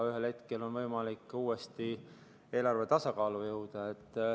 Ühel hetkel on võimalik uuesti eelarvega tasakaalu jõuda.